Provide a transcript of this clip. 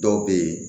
Dɔw bɛ ye